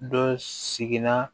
Dɔ sigila